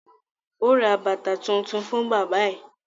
Ó ra bàtà tuntun fún bábà ẹ̀